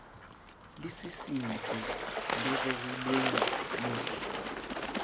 le sisintsweng le rerilweng mohl